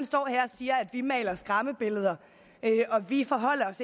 siger at vi maler skræmmebilleder og at vi